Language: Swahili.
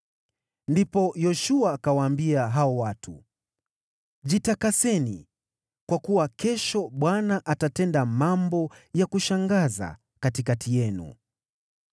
Ndipo Yoshua akawaambia hao watu, “Jitakaseni, kwa kuwa kesho Bwana atatenda mambo ya kushangaza katikati yenu.”